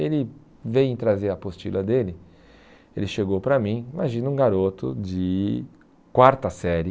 Ele vem trazer a apostila dele, ele chegou para mim, imagina um garoto de quarta série,